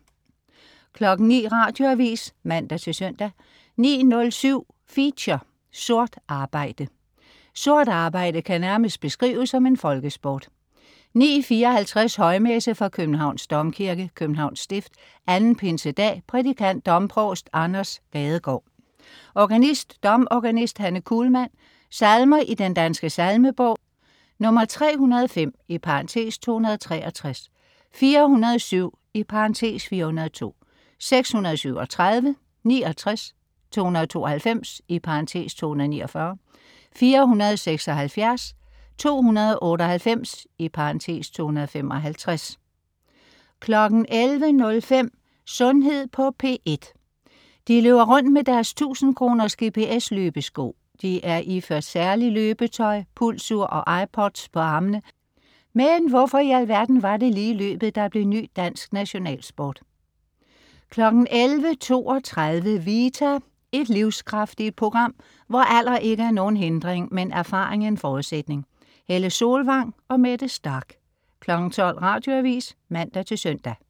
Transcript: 09.00 Radioavis (man-søn) 09.07 Feature: Sort arbejde. Sort arbejde kan nærmest beskrives som en folkesport 09.54 Højmesse. Københavns Domkirke, Københavns Stift. 2. pinsedag. Prædikant: domprovst Anders Gadegaard. Organist: domorganist Hanne Kuhlmann. Salmer i Den Danske Salmebog: 305 (263), 447 (402), 637, 69, 292 (249), 476, 298 (255) 11.05 Sundhed på P1. De løber rundt med deres tusindkroners GPS-løbesko, de er iført særligt løbetøj, pulsur og iPods på armene. Men hvorfor i alverden var det lige løbet der blev ny dansk nationalsport 11.32 Vita. Et livskraftigt program, hvor alder ikke er nogen hindring, men erfaring en forudsætning. Helle Solvang og Mette Starch 12.00 Radioavis (man-søn)